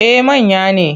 Eh manya ne.